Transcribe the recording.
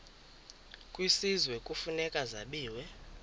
kwisizwe kufuneka zabiwe